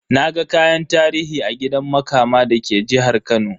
Naga kayan tarihi a gidan Makama da ke jihar Kano.